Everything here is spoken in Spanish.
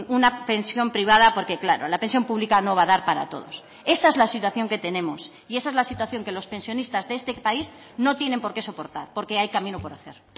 una pensión privada porque claro la pensión pública no va a dar para todos esa es la situación que tenemos y esa es la situación que los pensionistas de este país no tienen por qué soportar porque hay camino por hacer